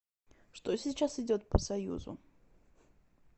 что сейчас идет по союзу